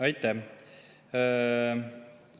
Aitäh!